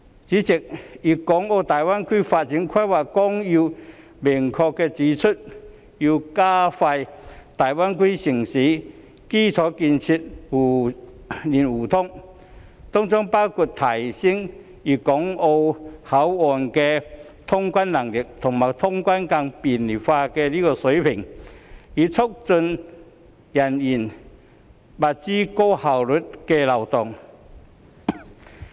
主席，《粵港澳大灣區發展規劃綱要》明確指出，要加快粵港澳大灣區城市的基礎建設互聯互通，當中包括提升粵港澳口岸的通關能力及通關更便利化水平，以促進人員、物資高效流動。